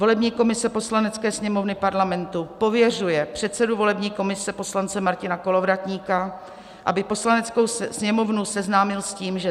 Volební komise Poslanecké sněmovny parlamentu pověřuje předsedu volební komise poslance Martina Kolovratníka, aby Poslaneckou sněmovnu seznámil s tím, že